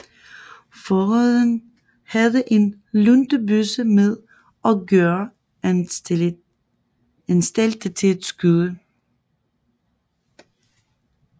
Fogeden havde en luntebøsse med og gjorde anstalter til at skyde